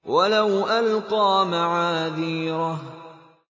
وَلَوْ أَلْقَىٰ مَعَاذِيرَهُ